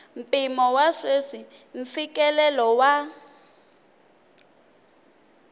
mpimo wa sweswi mfikelelo wa